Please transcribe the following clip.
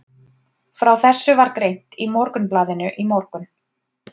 Frá þessu var greint í Morgunblaðinu í morgun.